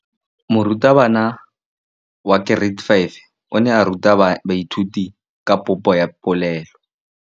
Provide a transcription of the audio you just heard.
Moratabana wa kereiti ya 5 o ne a ruta baithuti ka popô ya polelô.